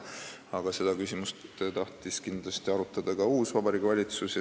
Aga seda küsimust tahtis kindlasti arutada ka uus Vabariigi Valitsus.